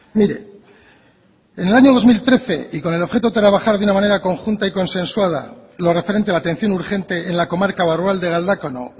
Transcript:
mire en el año dos mil trece y con el objeto trabajar de una manera conjunta y consensuada en lo referente a la atención urgente en la comarca barrualde galdakao